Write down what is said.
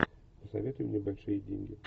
посоветуй мне большие деньги